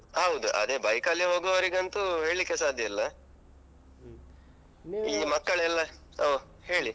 ಹೌದು. ಅದೇ bike ಅಲ್ಲಿ ಹೋಗುವವರಿಗಂತು ಹೇಳಿಕ್ಕೆ ಸಾಧ್ಯ ಇಲ್ಲ. ಈಗ ಮಕ್ಕಳೆಲ್ಲ ಹ್ಮ್ ಹೇಳಿ.